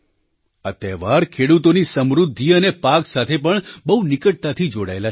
આ તહેવાર ખેડૂતોની સમૃદ્ધિ અને પાક સાથે પણ બહુ નિકટતાથી જોડાયેલા છે